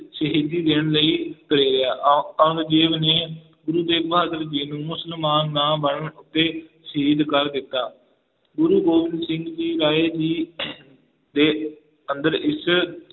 ਸ਼ਹੀਦੀ ਦੇਣ ਲਈ ਪ੍ਰੇਰਿਆ ਔ~ ਔਰੰਗਜੇਬ ਨੇ ਗੁਰੂ ਤੇਗ ਬਹਾਦਰ ਜੀ ਨੂੰ ਮੁਸਲਮਾਨ ਨਾ ਬਣਨ ਉੱਤੇ ਸ਼ਹੀਦ ਕਰ ਦਿੱਤਾ, ਗੁਰੂ ਗੋਬਿੰਦ ਸਿੰਘ ਜੀ ਰਾਏ ਜੀ ਦੇ ਅੰਦਰ ਇਸ